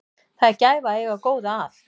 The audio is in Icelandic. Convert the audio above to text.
Það er gæfa að eiga góða að.